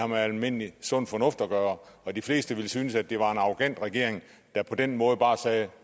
med almindelig sund fornuft at gøre og de fleste ville synes at det var en arrogant regering der på den måde bare sagde